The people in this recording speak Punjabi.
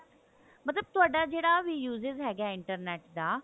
ਮਤਲਬ ਤੁਹਾਡਾ ਜਿਹੜਾ ਵੀ usage ਹੈਗਾ internet ਦਾ